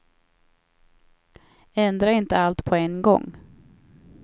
Ändra inte allt på en gång.